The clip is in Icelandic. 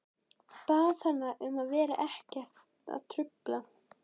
Bað hana að vera ekki að trufla.